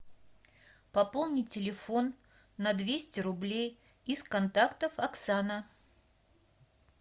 пополнить телефон на двести рублей из контактов оксана